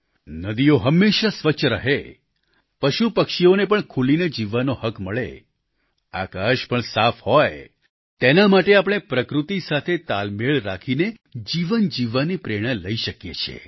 નદીઓ હંમેશા સ્વચ્છ રહે પશુપક્ષીઓને પણ ખુલીને જીવવાનો હક મળે આકાશ પણ સાફ હોય તેના માટે આપણે પ્રકૃતિ સાથે તાલમેલ રાખીને જીવન જીવવાની પ્રેરણા લઈ શકીએ છીએ